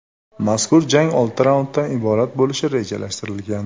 Mazkur jang olti raunddan iborat bo‘lishi rejalashtirilgan.